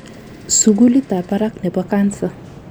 sugulit ab barak nebo cancer